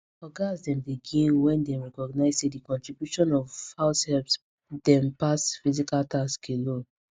ogas dem dey gain when dem recognize say the contributions of househelps dem pass physical task alone